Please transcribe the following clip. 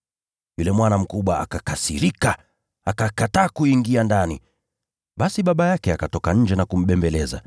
“Yule mwana mkubwa akakasirika, akakataa kuingia ndani. Basi baba yake akatoka nje na kumsihi.